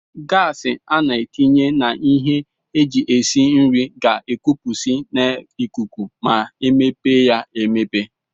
gas ana etinye na ihe eji esi nri ga ekupusi na ikuku ma emepe ya emepe.